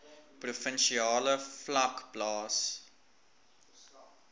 provinsiale vlak plaas